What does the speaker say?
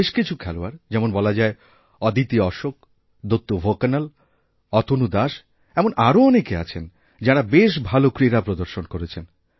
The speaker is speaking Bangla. বেশ কিছু খেলোয়াড় যেমন বলা যায় অদিতি অশোক দত্তু ভোকনল অতনু দাস এমনআরও অনেকে আছেন যাঁরা বেশ ভাল ক্রীড়া প্রদর্শন করেছেন